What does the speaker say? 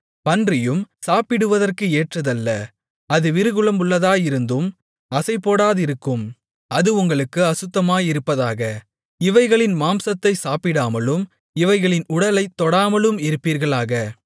பன்றியும் சாப்பிடுவதற்கு ஏற்றதல்ல அது விரிகுளம்புள்ளதாயிருந்தும் அசைபோடாதிருக்கும் அது உங்களுக்கு அசுத்தமாயிருப்பதாக இவைகளின் மாம்சத்தை சாப்பிடாமலும் இவைகளின் உடலைத்தொடாமலும் இருப்பீர்களாக